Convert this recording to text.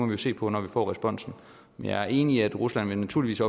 jo se på når vi får responsen jeg er enig i at rusland naturligvis